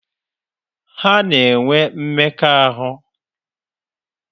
Ha na-enwe mmekọahụ?